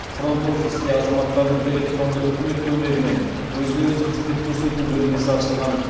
фронт офисте азаматтардың электронды үкімет көмегімен өзіне өзі қызмет көрсету бөлмесі ашылған